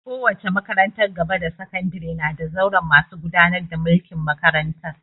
Kowace makarantar gaba da sakandare na da zauren masu gudanar da mulkin makarantar